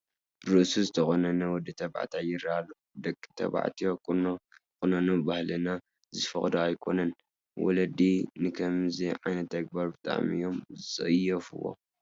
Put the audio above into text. ርእሱ ዝተቖነነ ወዲ ተባዕታይ ይርአ ኣሎ፡፡ ደቂ ተባዕትዮ ቁኖ ክቑነኑ ባህልና ዝፈቕኦ ኣይኮነን፡፡ ወለዲ ንከምዚ ዓይነት ተግባር ብጣዕሚ እዮም ዝፅየፍዎ፡፡